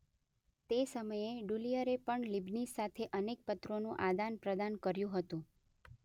તે સમયે ડુલિઅરે પણ લીબનીઝ સાથે અનેક પત્રોનું આદાનપ્રદાન કર્યું હતું.